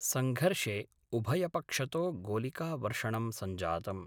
संघर्षे उभयपक्षतो गोलिकावर्षणं संजातम्।